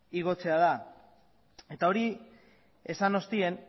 igotzea da eta hori esan ostean